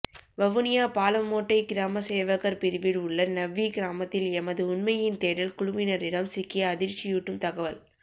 வவுனியா பாலமோட்டை கிராம சேவகர் பிரிவில் உள்ள நவ்வி கிராமத்தில் எமது உண்மையின் தேடல் குழுவினரிடம் சிக்கிய அதிர்ச்சியூட்டும் தகவல்